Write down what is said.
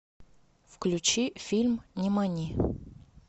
включи фильм нимани